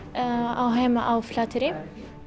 á heima á Flateyri